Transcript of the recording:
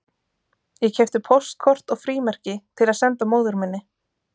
Ég keypti póstkort og frímerki til að senda móður minni